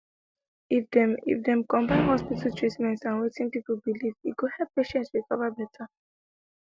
if dem if dem combine hospital treatment and wetin people believe e go help patients recover better